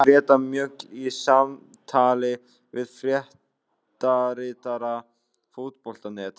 Þetta staðfesti Greta Mjöll í samtali við fréttaritara Fótbolta.net.